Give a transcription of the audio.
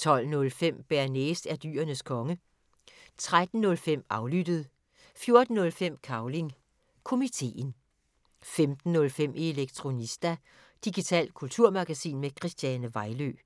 11:05: Det, vi taler om (G) Vært: Ditte Okman 12:05: Bearnaise er Dyrenes Konge 13:05: Aflyttet 14:05: Cavling Komiteen 15:05: Elektronista – digitalt kulturmagasin med Christiane Vejlø